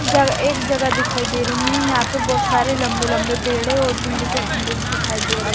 जगह एक जगह दिखाई दे रही है यहां पर बहोत सारे लंबे-लंबे पेड़ हैं और बिजली के खंभे भी दिखाई दे रहे हैं।